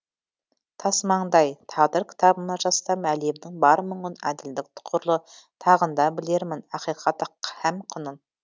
тасмаңдай тағдыр кітабыма жазсам әлемнің бар мұңын әділдік тұғырлы тағында білермін ақиқат һәм құнын